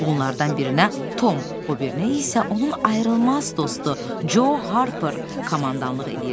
Bunlardan birinə Tom, o birinə isə onun ayrılmaz dostu Co Harper komandanlıq eləyirdi.